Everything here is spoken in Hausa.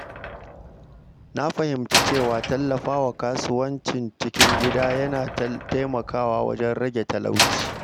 Na fahimci cewa tallafawa kasuwancin cikin gida yana taimakawa wajen rage talauci.